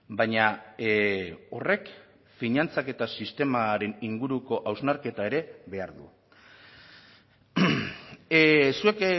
baina horrek finantzak eta sistemaren inguruko hausnarketa ere behar du zuek